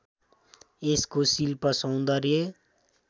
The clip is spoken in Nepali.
यसको शिल्‍प सौन्दर्य